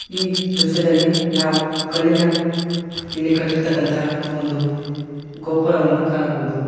ಈ ದೃಶ್ಯದಲ್ಲಿ ನಾವು ಕಲ್ಲಿನ ಲಿ ಕಟ್ಟಿರ್ತಕ್ಕಂತಹ ಒಂದು ಗೋಪುರವನ್ನು ಕಾಣಬಹುದು.